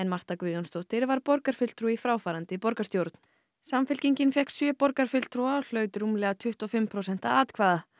Marta Guðjónsdóttir var borgarfulltrúi í fráfarandi borgarstjórn samfylkingin fékk sjö borgarfulltrúa og hlaut rúmlega tuttugu og fimm prósent atkvæða